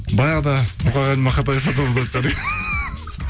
баяғыда мұқағали мақатаев атамыз айтқандай